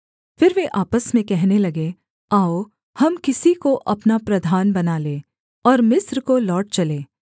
फिर वे आपस में कहने लगे आओ हम किसी को अपना प्रधान बना लें और मिस्र को लौट चलें